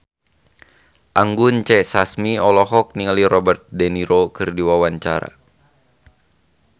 Anggun C. Sasmi olohok ningali Robert de Niro keur diwawancara